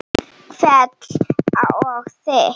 Hvell og þykk.